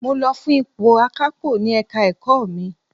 Mo lọ fún ipò akapo ní Ẹ̀ka-ẹ̀kọ́ mi.